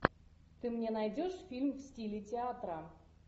ты мне найдешь фильм в стиле театра